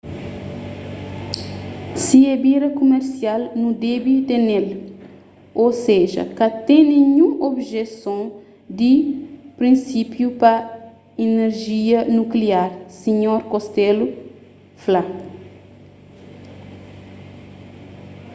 si é bira kumersial nu debe tene-l ô seja ka ten ninhun objeson di prinsipiu pa inerjia nukliar sinhor costello fla